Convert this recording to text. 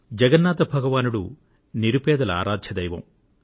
జగన్నాథ భగవానుడు నిరుపేదల ఆరాధ్య దైవం